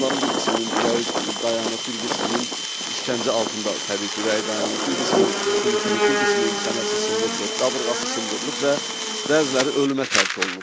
Onların bir qisminin ürəyi dayanıb, bir qisminin işgəncə altında təbii ki, ürəyi dayanıb, bir qismi huşunu itirib, bir qisminin çənəsi sındırılıb, qabırğası sındırılıb və bəziləri ölümə tərk olunub.